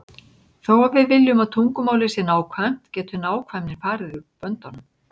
Þó að við viljum að tungumálið sé nákvæmt getur nákvæmnin farið út böndunum.